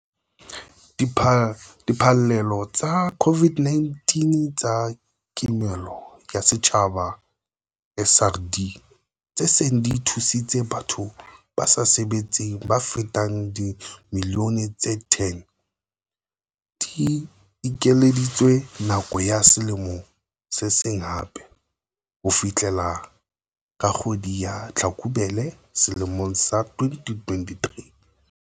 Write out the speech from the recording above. Diphallelo tsa COVID-19 tsa Kimollo ya Setjhaba, SRD, tse seng di thusitse batho ba sa sebetseng ba fetang dimilione tse 10, di ekeleditswe nako ya selemo se seng hape - ho fihlela ka kgwedi ya Tlhakubele selemong sa 2023.